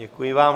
Děkuji vám.